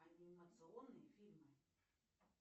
анимационные фильмы